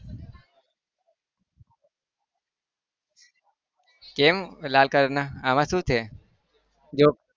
કેમ લાલ colour ના આમાં શું છે? જો